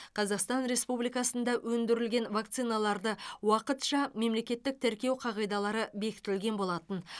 қазақстан республикасында өндірілген вакциналарды уақытша мемлекеттік тіркеу қағидалары бекітілген болатын